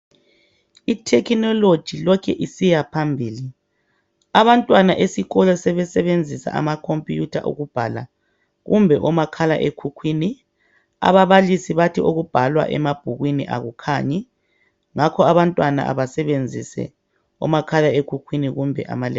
Ithekhinologi lokhu isiyaphambili abantwana esikolo sebesebenzisa amakhompuyitha ukubhala kumbe omakhala ekhukhwini. Ababalisi bathi okubhalwa emabhukwini akukhanyi ngakho abantwana abasebenzise omakhalekhukhwini kumbe ama lephutophi.